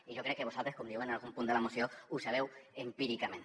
i jo crec que vosaltres com diu algun punt de la moció ho sabeu empíricament